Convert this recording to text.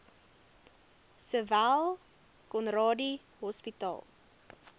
sowel conradie hospitaal